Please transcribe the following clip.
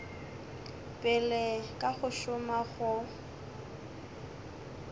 pele ka go šoma go